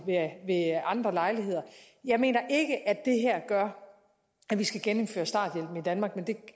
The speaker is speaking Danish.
andre lejligheder jeg mener ikke at det her gør at vi skal genindføre starthjælpen i danmark men det